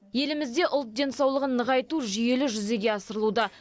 елімізде ұлт денсаулығын нығайту жүйелі жүзеге асырылуда